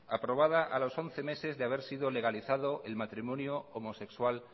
aprobada a los once meses de haber sido legalizado el matrimonio homosexual